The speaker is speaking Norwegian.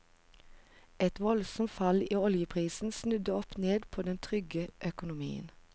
Et voldsomt fall i oljeprisen snudde opp ned på den trygge økonomien.